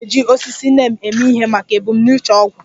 A na-eji osisi neem eme ihe maka ebumnuche ọgwụ